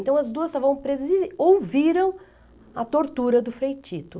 Então as duas estavam presas, e ouviram a tortura do Frei Tito.